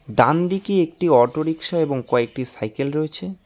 ডানদিকে একটি auto rickshaw এবং কয়েকটি সাইকেল রয়েছে।